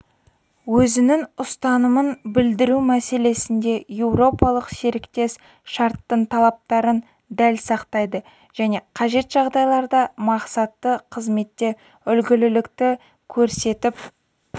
өзінің ұстанымын білдіру мәселесінде еуропалық серіктес шарттың талаптарын дәл сақтайды және қажет жағдайларда мақсатты қызметте үлгілілікті көрсетіп